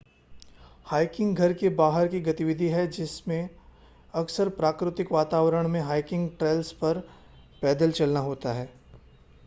hiking घर के बाहर की गतिविधि है जिसमें अक्सर प्राकृतिक वातावरण में हाइकिंग ट्रेल्स पर पैदल चलना होता है